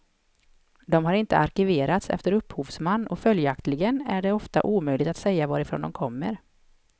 De har inte arkiverats efter upphovsman och följaktligen är det ofta omöjligt att säga varifrån de kommer.